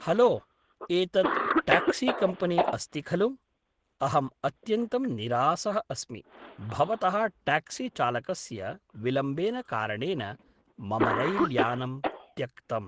hello एतत् taxi company अस्ति खलु अहम् अत्यन्तं निरासः अस्मि भवतः ट्याक्सि चालकस्य विलम्बेन कारणेन मम रैल् यानं त्यक्तम्